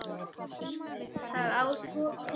Það á að mæla það í gleði.